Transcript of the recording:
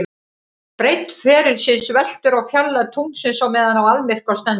Breidd ferilsins veltur á fjarlægð tunglsins á meðan á almyrkva stendur.